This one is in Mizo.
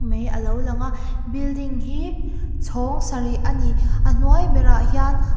mei alo lang a building hi chhawng sarih a ni a hnuai berah hian--